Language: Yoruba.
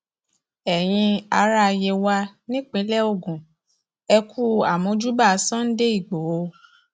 ẹyin ará yewa nípínlẹ ogun ẹ kú àmọjúbà sunday igbodò